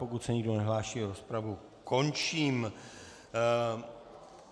Pokud se nikdo nehlásí, rozpravu končím.